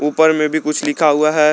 ऊपर में भी कुछ लिखा हुआ है।